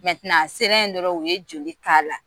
a sera yen dɔrɔn u ye joli k'a la